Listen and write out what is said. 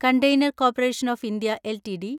container corporation of India LTD